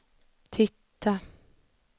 titta